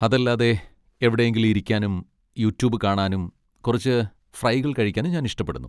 അതല്ലാതെ, എവിടെയെങ്കിലും ഇരിക്കാനും യുട്യൂബ് കാണാനും കുറച്ച് ഫ്രൈകൾ കഴിക്കാനും ഞാൻ ഇഷ്ടപ്പെടുന്നു.